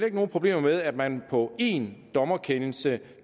ikke nogen problemer med at man på én dommerkendelse